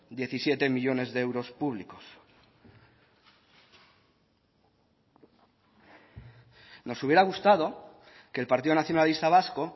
diecisiete millónes de euros públicos nos hubiera gustado que el partido nacionalista vasco